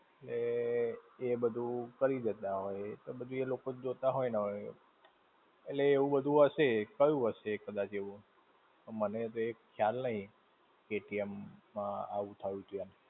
એ, એ બધું કરી દેતા હોય, એ તો બધું એલોક જ જોતા હોય ને હવે. એટલે એવું બધું હશે. થયું હશે કદાચ એવું. મને કંઈ ખ્યાલ નઈ, કે કેમ આવું થયુંતું એમ.